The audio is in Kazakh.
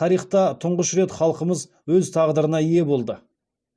тарихта тұңғыш рет халқымыз өз тағдырына ие болды